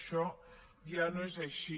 això ja no és així